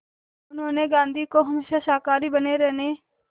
उन्होंने गांधी को हमेशा शाकाहारी बने रहने